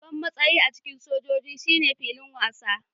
Babban matsayi a cikin soja shine filin wasa